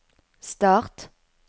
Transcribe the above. start